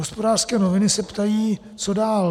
Hospodářské noviny se ptají, co dál.